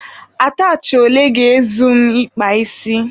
Atachị ole ga-ezu m ị kpa isi?